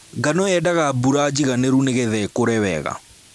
Ngano yendaga mbura njiganĩru nĩgetha ĩkũre wega.